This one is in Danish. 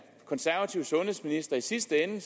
konservative sundhedsminister i sidste ende